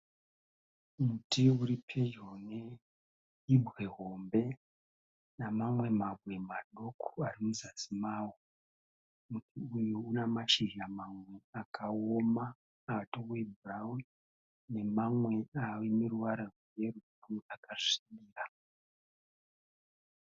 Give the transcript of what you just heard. Muti uri pedyo neibwe hombe nemamwe mabwe madoko ari muzasi mawo. Muti uyu una mashizha mamwe akaooma atove ebhurauni nemamwe atove neruvara rweyero akasviba.